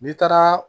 N'i taara